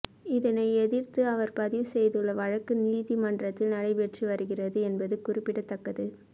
இதனை எதிர்த்து அவர் பதிவு செய்துள்ள வழக்கு நீதிமன்றத்தில் நடைபெற்று வருகிறது என்பது குறிப்பிடத்தக்கது